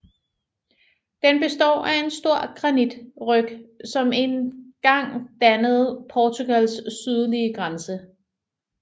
Den består af en stor granitryg som en gang dannede Portugals sydlige grænse